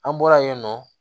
An bɔla yen nɔ